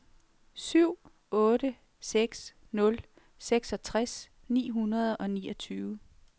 syv otte seks nul seksogtres ni hundrede og niogtyve